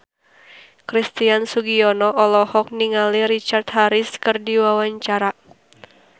Christian Sugiono olohok ningali Richard Harris keur diwawancara